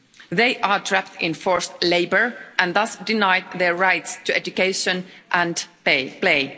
They are trapped in forced labour and thus denied their rights to education and play.